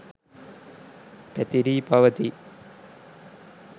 පැතිරී පවති යි.